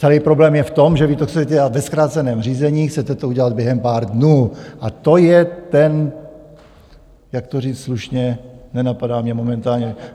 Celý problém je v tom, že vy to chcete dělat ve zkráceném řízení, chcete to udělat během pár dnů, a to je ten - jak to říct slušně, nenapadá mě momentálně...